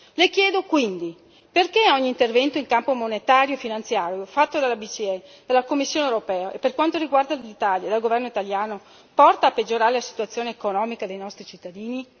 Le chiedo quindi perché un intervento in campo monetario e finanziario, fatto dalla BCE, dalla Commissione europea e per quanto riguarda l'Italia, dal governo italiano, porta a peggiorare la situazione economica dei nostri cittadini?